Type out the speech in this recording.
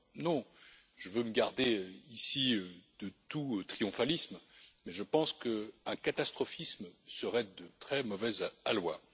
Alors, je veux me garder ici de tout triomphalisme, mais je pense qu'un catastrophisme serait de très mauvais aloi.